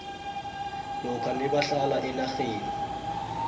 lokha nabahlala enarheni